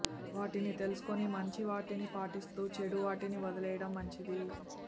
వాటిని తెలుసుకొని మంచి వాటిని పాటిస్తూ చెడు వాటిని వదిలేయటం మంచిది